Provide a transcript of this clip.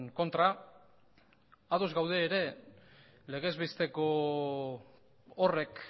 kontra ados gaude ere legez besteko horrek